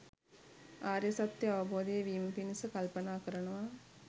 ආර්ය සත්‍යය අවබෝධ වීම පිණිස කල්පනා කරනවා.